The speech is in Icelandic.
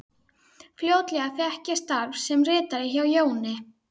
Fljótlega fékk ég starf sem ritari hjá Jóni